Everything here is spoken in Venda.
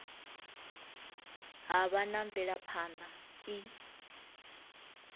ha vha na mvelaphana i